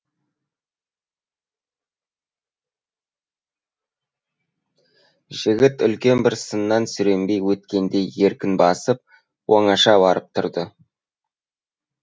жігіт үлкен бір сыннан сүрінбей өткендей еркін басып оңаша барып тұрды